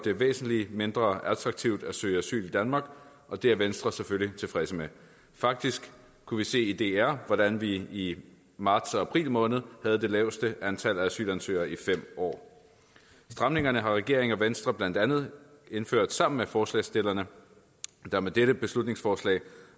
det væsentlig mindre attraktivt at søge asyl i danmark og det er venstre selvfølgelig tilfreds med faktisk kunne vi se i dr hvordan vi i marts og april måned havde det laveste antal asylansøgere i fem år stramningerne har regeringen og venstre blandt andet indført sammen med forslagsstillerne der med dette beslutningsforslag